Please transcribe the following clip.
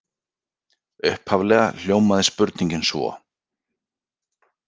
Upphaflega hljómaði spurningin svo: